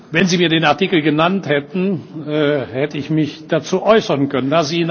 Wenn Sie mir den Artikel genannt hätten, hätte ich mich dazu äußern können.